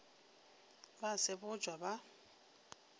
ba a sebotšwa ba a